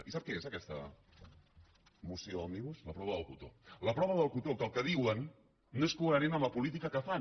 i sap què és aquesta moció amigos la prova del cotó la prova del cotó que el que diuen no és coherent amb la política que fan